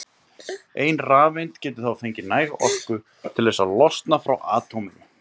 ein rafeind getur þá fengið næga orku til þess að losna frá atóminu